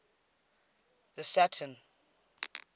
the saturn